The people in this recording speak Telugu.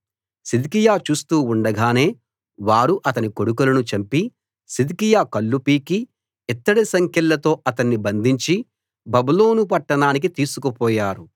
సిద్కియా చూస్తూ ఉండగానే వారు అతని కొడుకులను చంపి సిద్కియా కళ్ళు పీకి ఇత్తడి సంకెళ్లతో అతన్ని బంధించి బబులోను పట్టణానికి తీసుకుపోయారు